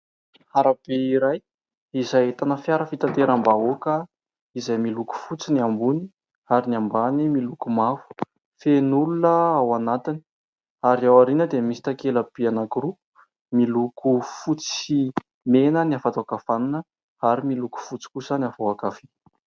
Arabe iray, izay ahitana fiara fitanteram-bahoaka, izay miloko fotsy ny ambony ary ny ambany miloko mavo. Feno olona ao anatiny ary ao ariana dia misy takela lehibe anakiroa, miloko fotsy sy mena ny avao an-kavanana, ary miloko fotsy kosa ny avao an-kavia.